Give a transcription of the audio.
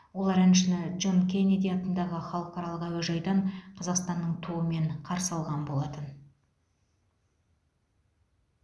олар әншіні джон кеннеди атындағы халықаралық әуежайдан қазақстанның туымен қарсы алған болатын